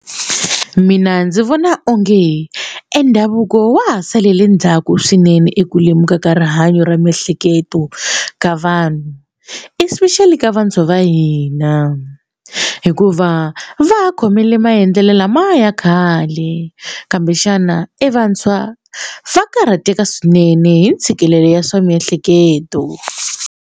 Mina ndzi vona onge endhavuko wa ha salele ndzhaku swinene eku lemuka ka rihanyo ra miehleketo ka vanhu especially ka vantshwa va hina hikuva va ha khomile maendlelo lamaya ya khale kambexana evantshwa va karhateka swinene hi ntshikelelo ya swa miehleketo.